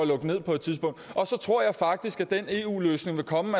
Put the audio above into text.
lukke ned på et tidspunkt og så tror jeg faktisk at den eu løsning vil komme